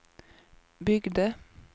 byggde